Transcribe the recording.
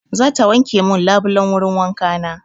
Za ta wanke min labulan wurin wanka na.